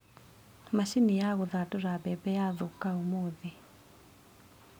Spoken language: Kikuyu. Macini ya gũthandũra mbembe yathũka ũmũthĩ.